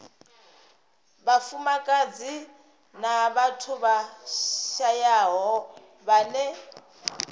vhafumakadzi na vhathu vhashayaho vhane